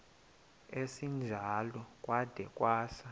esinjalo kwada kwasa